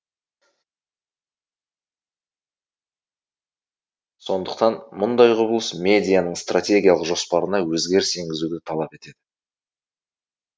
сондықтан мұндай құбылыс медианың стратегиялық жоспарына өзгеріс енгізуді талап етеді